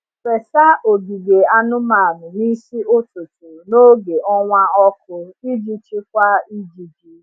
Fesa ogige anụmanụ n’isi ụtụtụ n’oge ọnwa ọkụ iji chịkwaa ijiji.